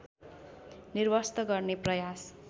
निर्वस्त्र गर्ने प्रयास